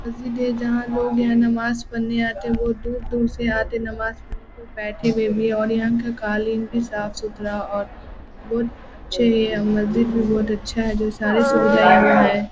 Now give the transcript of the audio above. मस्जिद है जहाँ लोग यहाँ नमाज़ पढ़ने आते हैं बहुत दूर-दूर से आते नमाज़ पढ़ने बैठे हुए भी हैं और यहाँ का कालीन भी साफ़-सुथरा और बहुत अच्छे हैं यह मस्जिद भी बहुत अच्छा है जो सारी सुविधाए यहाँ पे है ।